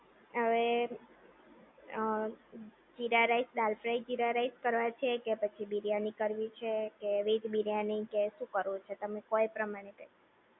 હવે jeera rice dal fry jeera rice કરવા છે કે પછી બિરયાની કરવી છે કે વેજ બિરયાની કે શું કરવું છે તમે કહો એ પ્રમાણે કરીએ